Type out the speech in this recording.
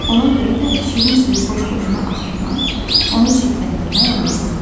Ona görə də şirin suyu boş-boşuna axıtmaq, onu çirkləndirmək olmaz.